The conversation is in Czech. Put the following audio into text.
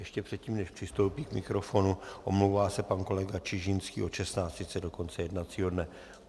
Ještě předtím, než přistoupí k mikrofonu, omlouvá se pan kolega Čižinský od 16.30 do konce jednacího dne.